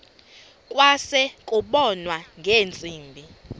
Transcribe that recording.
kwase kubonwa ngeentsimbi